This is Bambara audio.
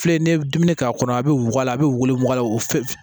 Filɛ ni ye dumuni k'a kɔnɔ a bɛ wuguba a bɛ wolo a la o f